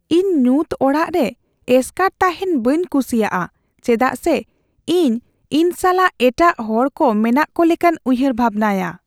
ᱤᱧ ᱧᱩᱛ ᱚᱲᱟᱜ ᱨᱮ ᱮᱥᱠᱟᱨ ᱛᱟᱦᱮᱱ ᱵᱟᱹᱧ ᱠᱩᱥᱤᱭᱟᱜᱼᱟ ᱪᱮᱫᱟᱜ ᱥᱮ ᱤᱧ ᱤᱧ ᱥᱟᱞᱟᱜ ᱮᱴᱟᱜ ᱦᱚᱲᱠᱚ ᱢᱮᱱᱟᱜ ᱠᱚ ᱞᱮᱠᱟᱧ ᱩᱭᱦᱟᱹᱨ ᱵᱷᱟᱵᱱᱟᱭᱟ ᱾